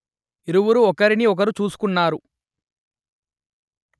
ఇరువురు ఒకరిని ఒకరు చూసుకున్నారు